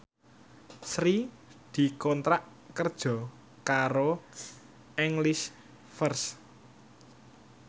Sri dikontrak kerja karo English First